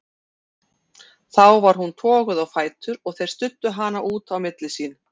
Þá var hún toguð á fætur og þeir studdu hana út á milli sín.